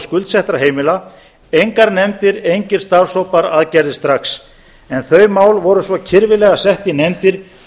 skuldsettra heimila engar nefndir engir starfshópar aðgerðir strax en þau mál voru svo kirfilega sett í nefndir